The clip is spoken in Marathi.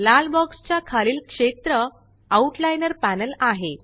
लाल बॉक्स च्या खालील क्षेत्र आउट लाइनर पॅनल आहे